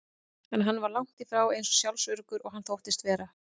En hann var langt í frá eins sjálfsöruggur og hann þóttist vera.